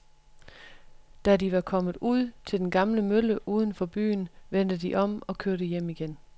Da de var kommet ud til den gamle mølle uden for byen, vendte de om og kørte hjem igen.